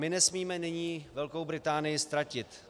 My nesmíme nyní Velkou Británii ztratit.